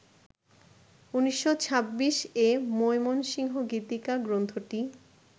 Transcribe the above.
১৯২৬-এ মৈমনসিংহ গীতিকা গ্রন্থটি